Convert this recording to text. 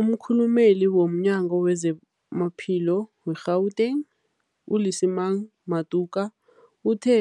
Umkhulumeli womNyango weZamaphilo we-Gauteng, u-Lesemang Matuka uthe